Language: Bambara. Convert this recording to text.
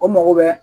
O mago bɛ